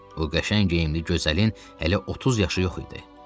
O qəşəng geyimli gözəlin hələ 30 yaşı yox idi.